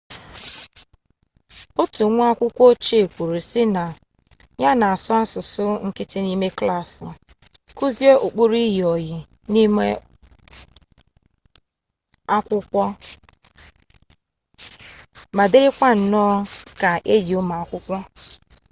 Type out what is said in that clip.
otu nwa akwukwo ochie kwuru si na ya 'na-asu asusu nkiti nime klassi kuzie ukpuru iyi-oyi nime akwukwo ma diri ka nno ka enyi umu akwukwo'